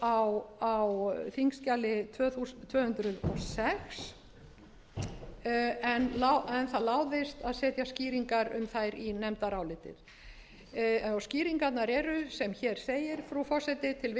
á þingskjali tvö hundruð og sex en það láðist að setja skýringar um þær í nefndarálitið skýringarnar eru sem hér segir frú forseti